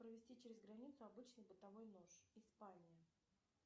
провезти через границу обычный бытовой нож испания